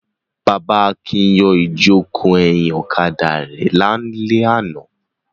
Bàbá Akin yọ ìjókòó ẹ̀yìn ọ̀kadà rẹ̀ lálẹ́ àná.